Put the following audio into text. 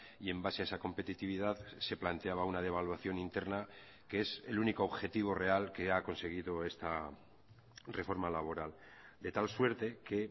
y en base a esa competitividad se planteaba una devaluación interna que es el único objetivo real que ha conseguido esta reforma laboral de tal suerte que